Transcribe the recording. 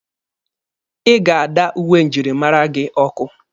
Ị ga-ada uwe njirimara gị ọkụ!